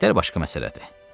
İtlər başqa məsələdir.